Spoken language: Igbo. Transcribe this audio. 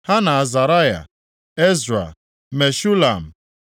ha na Azaraya, Ezra, Meshulam,